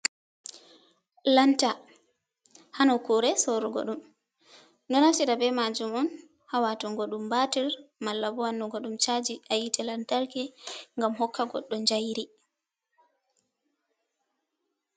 Lanta ha nokkure sorugo ɗum. Ɗo naftira be majum on ha watungo ɗum batir, malla bo wannugo ɗum chaji ha yite lantarki ngam hokka goddo jayri.